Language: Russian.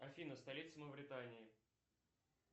афина столица мавритании